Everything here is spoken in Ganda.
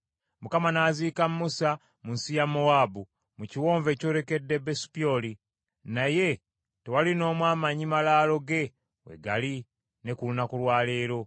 Mukama n’aziika Musa mu nsi ya Mowaabu, mu kiwonvu ekyolekedde Besupyoli, naye tewali n’omu amanyi malaalo ge we gali ne ku lunaku lwa leero.